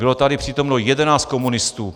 Bylo tady přítomno 11 komunistů.